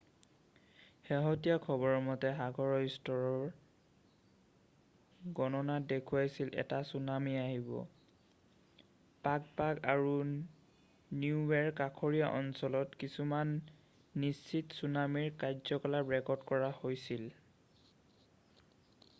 শেহতীয়া খবৰ মতে সাগৰ স্তৰৰ গণনাত দেখুৱাইছিল এটা ছুনামী আহিব পাগ' পাগ' আৰু নিউৱেৰ কাষৰীয়া অঞ্চলত কিছুমান নিশ্চিত ছুনামীৰ কাৰ্যকলাপ ৰেকৰ্ড কৰা হৈছিল